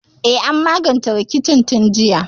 E, an magance rikicin tun jiya.